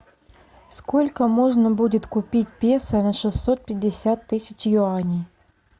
сколько можно будет купить песо на шестьсот пятьдесят тысяч юаней